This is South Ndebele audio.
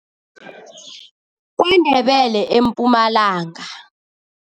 Ndebele eMpumalanga.